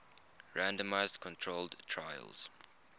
randomized controlled trials